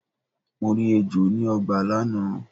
Mo rí ejò ni ọgbà lánàá.